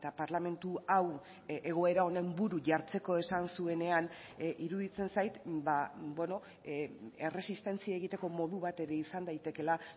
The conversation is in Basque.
parlamentu hau egoera honen buru jartzeko esan zuenean iruditzen zait erresistentzia egiteko modu bat ere izan daitekeela